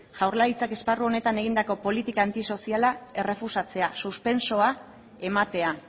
jaurlaritzak esparru honetan egindako politika antisoziala errefusatzea suspensoa ematea